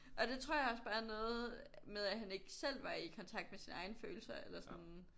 Og det tror jeg også bare er noget med at han ikke selv var i kontakt med hans følelser eller sådan